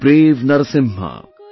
O brave Narasimha